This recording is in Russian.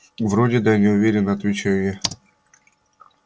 вроде да неуверенно отвечаю я